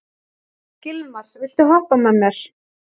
Gilmar, viltu hoppa með mér?